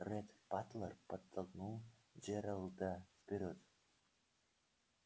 ретт батлер подтолкнул джералда вперёд